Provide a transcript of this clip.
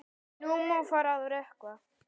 Nú má fara að rökkva.